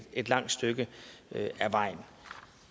et langt stykke ad vejen